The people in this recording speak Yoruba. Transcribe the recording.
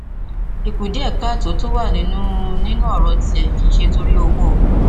ìkùdíẹkáàtó tó wà nínú nínú ọràn tìrẹ kì í ṣe nítorí owó